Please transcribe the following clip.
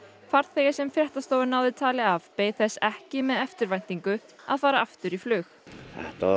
farþegi sem fréttastofa náði tali af beið þess ekki með eftirvæntingu að fara aftur í flug þetta var